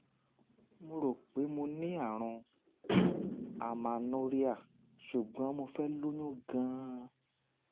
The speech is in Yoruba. mo rò pé mo ní àrùn amernorrhea ṣùgbọ́n mo fẹ́ lóyún gan-an